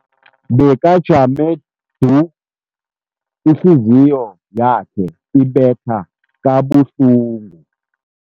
Bekajame du, ihliziyo yakhe ibetha kabuhlungu.